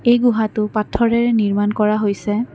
এই গুহাটো পাথৰেৰে নিৰ্মাণ কৰা হৈছে।